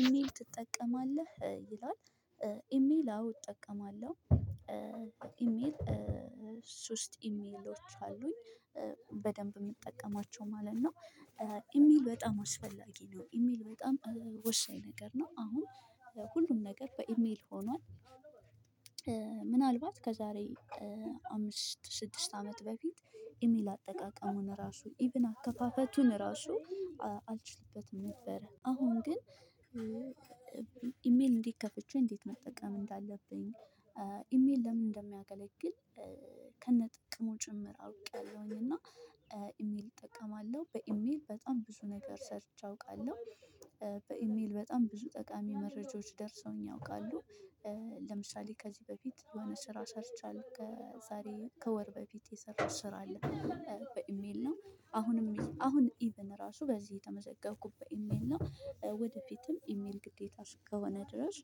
ኢሜል ትጠቀማለህ ይላል? ኢሜል አዎ እጠቀማለሁ። ኢሜል ሶስት ኢሜሎች አሉኝ በደንብ የምጠቀማቸው ማለት ነው። ኢሜል በጣም አስፈላጊ ነው ኢሜል በጣም ወሳኝ ነገር ነው አሁን ለሁሉም ነገር በኢሜል ሆኗል። ምናልባት ከዛሬ አምስት ስድስት አመት በፊት ኢሜል አጠቃቀሙን ራሱ ኢቭን አከፋፈቱን ራሱ አልችልበትም ነበረ አሁን ግን። ኢሜል እንዴት ከፍቼ እንዴት መጠቀም እንዳለብኝ ኢሜል ለምን እንደሚያገለግል ከነጥቅሙ ጭምር አውቄያለሁኝ። እና ኢሜል እጠቀማለሁ በኢሜል በጣም ብዙ ነገር ሰርች አውቃለሁ። በኢሜል በጣም ብዙ ጠቃሚ መረጃዎች ደርሰውኝ ያውቃሉ። ለምሳሌ ከዚህ በፊት የሆነ ስራ ሰርቻለው ከዛሬ ከወር በፊት የሰራሁት ስራ አለ። በኢሜል ነው አሁንም አሁን ኢቭን ራሱ በዚህ የተመዘገብኩበት ኢሜል ነው። ወደፊትም ኢሜል ግዴታ እስከሆነ ድረስ